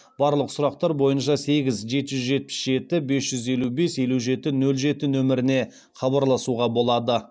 барлық сұрақтар бойынша сегіз жеті жүз жетпіс жеті бес жүз елу бес елу жеті нөл жеті нөміріне хабарласуға болады